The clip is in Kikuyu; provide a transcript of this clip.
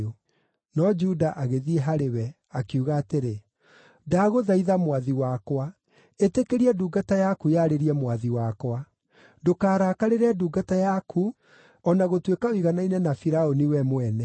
No Juda agĩthiĩ harĩ we, akiuga atĩrĩ, “Ndagũthaitha mwathi wakwa, ĩtĩkĩria ndungata yaku yarĩrie mwathi wakwa. Ndũkarakarĩre ndungata yaku o na gũtuĩka ũiganaine na Firaũni we mwene.